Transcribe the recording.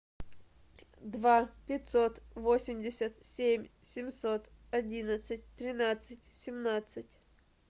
два пятьсот восемьдесят семь семьсот одиннадцать тринадцать семнадцать